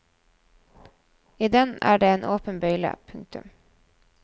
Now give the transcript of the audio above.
I den er det en åpen bøyle. punktum